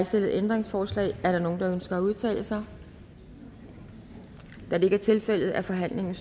stillet ændringsforslag er der nogen der ønsker at udtale sig da det ikke er tilfældet er forhandlingen